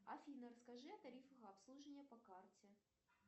афина расскажи о тарифах обслуживания по карте